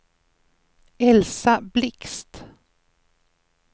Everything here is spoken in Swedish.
Elsa Blixt